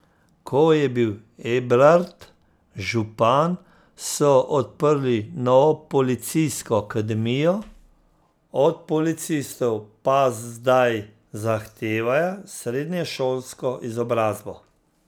Ko je bil Ebrard župan, so odprli novo policijsko akademijo, od policistov pa zdaj zahtevajo srednješolsko izobrazbo.